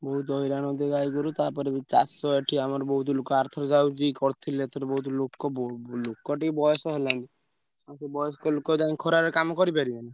ବହୁତ ହଇରାଣ ହଉଥିବେ ଗାଈଗୋରୁ ତାପରେ ବି ଚାଷ ଏଠି ଆମର ବହୁତ ଲୋକ ଆରଥର ଆଉ ବି କରିଥିଲେ ଏଥର ବହୁତ ଲୋକ ବ ଲୋକ ଟିକେ ବୟସ ହେଲାଣି ଆଉ ସେ ବୟସ୍କ ଲୋକ ଯାଇ ଖରାରେ କାମ କରିପାରିବେ ନା।